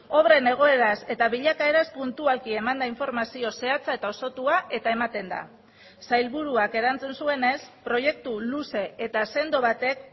obren egoeraz eta bilakaeraz puntualki eman da informazio zehatza eta osotua eta ematen da sailburuak erantzun zuenez proiektu luze eta sendo batek